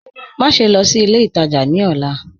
Máṣẹ̀ lọ́ sí ilẹ̀ ìtajá ní ọlá